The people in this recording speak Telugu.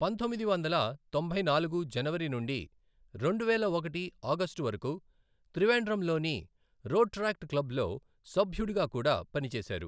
పంతొమ్మిది వందల తొంభై నాలుగు జనవరి నుండి రెండువేల ఒకటి ఆగస్టు వరకు త్రివేండ్రంలోని రోట్రాక్ట్ క్లబ్లో సభ్యుడిగా కూడా పనిచేశారు.